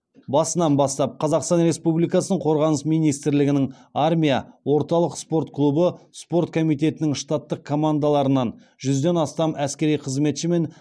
басынан бастап қазақстан республикасының қорғаныс министрлігінің армия орталық спорт клубы спорт комитетінің штаттық командаларынан жүзден астам әскери қызметші мен